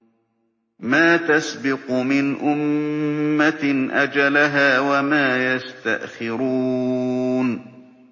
مَّا تَسْبِقُ مِنْ أُمَّةٍ أَجَلَهَا وَمَا يَسْتَأْخِرُونَ